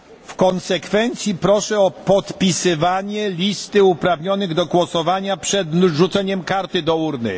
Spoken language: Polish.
W konsekwencji proszę o podpisywanie listy uprawnionych do głosowania przed wrzuceniem karty do urny.